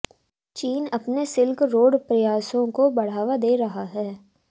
चीन अपने silk road प्रयासों को बढ़ावा दे रहा है